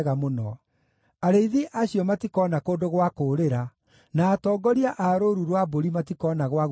Arĩithi acio matikoona kũndũ gwa kũũrĩra, na atongoria a rũũru rwa mbũri matikoona gwa gwĩtharĩra.